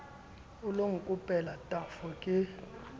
o lo nkopela tafo ke